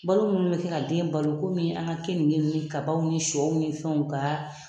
Balo minnu bɛ kɛ ka den balo komi an ka keninke ni kabaw ni siyɔw ni fɛnw ka.